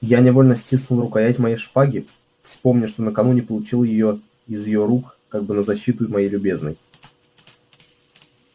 я невольно стиснул рукоять моей шпаги вспомня что накануне получил её из её рук как бы на защиту моей любезной